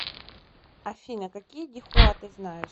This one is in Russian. афина какие дихуа ты знаешь